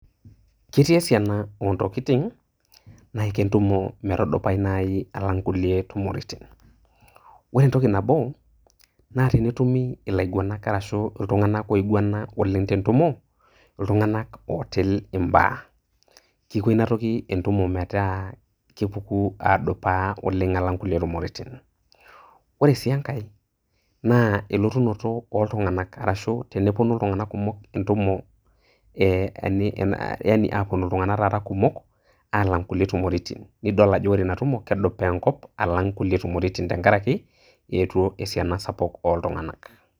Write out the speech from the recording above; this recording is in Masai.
ketii esiaina oo ntokitin, naiko entumo metudupayu, naai alang kulie tumoritin. ore entoki nabo, naa tenetumi ilaiguanak arashu iltunganak oinguana oleng tentumo. iltunganak ootil ibaa. kiko ina toki entumo metaa kepuko adupa oleng alang kulie tumoritin. ore sii enkae, naa eleotunoto oltunganak, arashu tenepuonu iltunganak kumok oleng entumo ee yaani aapuonu iltunganak taata kumok aalnag kulie tumoritin. nidol ajo re ina tumo kedupaa enkop alang kulie tumortin tenkaraki eetuo esiana sapuk ooltunganak.